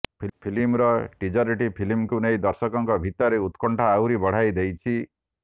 ଫିଲ୍ମର ଟିଜରଟି ଫିଲ୍ମକୁ ନେଇ ଦର୍ଶକଙ୍କ ଭିତରେ ଉକ୍ରଣ୍ଠା ଆହୁରି ବଢାଇ ଦେଇଛି